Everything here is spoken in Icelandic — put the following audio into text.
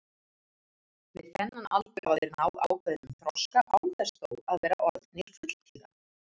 Við þennan aldur hafa þeir náð ákveðnum þroska án þess þó að vera orðnir fulltíða.